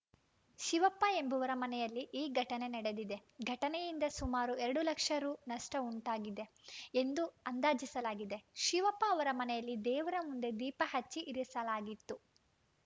ಶಿವಪ್ಪ ಎಂಬುವರ ಮನೆಯಲ್ಲಿ ಈ ಘಟನೆ ನಡೆದಿದೆ ಘಟನೆಯಿಂದ ಸುಮಾರು ಎರಡು ಲಕ್ಷ ರು ನಷ್ಟಉಂಟಾಗಿದೆ ಎಂದು ಅಂದಾಜಿಸಲಾಗಿದೆ ಶಿವಪ್ಪ ಅವರ ಮನೆಯಲ್ಲಿ ದೇವರ ಮುಂದೆ ದೀಪ ಹಚ್ಚಿ ಇರಿಸಲಾಗಿತ್ತು